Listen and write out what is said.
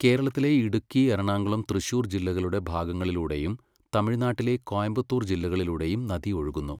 കേരളത്തിലെ ഇടുക്കി, എറണാകുളം, തൃശൂർ ജില്ലകളുടെ ഭാഗങ്ങളിലൂടെയും തമിഴ്നാട്ടിലെ കോയമ്പത്തൂർ ജില്ലകളിലൂടെയും നദി ഒഴുകുന്നു.